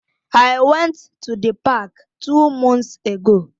I went to the park two months ago.